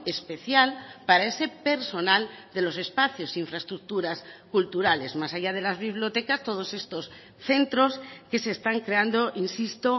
especial para ese personal de los espacios infraestructuras culturales más allá de las bibliotecas todos estos centros que se están creando insisto